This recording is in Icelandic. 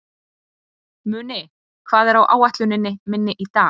Muni, hvað er á áætluninni minni í dag?